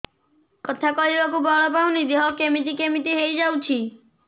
କଥା କହିବାକୁ ବଳ ପାଉନି ଦେହ କେମିତି କେମିତି ହେଇଯାଉଛି